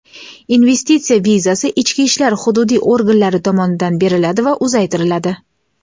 investitsiya vizasi ichki ishlar hududiy organlari tomonidan beriladi va uzaytiriladi.